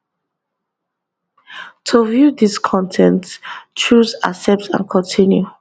to view dis con ten t choose accept and continue